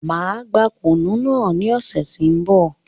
Máa gbà kùnú náà ní ọ̀sẹ̀ ti n bọ̀